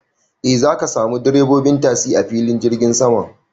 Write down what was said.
E, zaka samu direbobin tasi a filin jirgin saman.